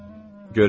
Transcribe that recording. Görürsən?